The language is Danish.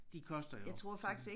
De koster jo sådan